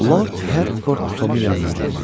Lord Hertford Tomun yanına cümdü.